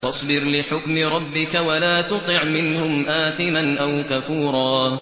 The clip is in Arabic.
فَاصْبِرْ لِحُكْمِ رَبِّكَ وَلَا تُطِعْ مِنْهُمْ آثِمًا أَوْ كَفُورًا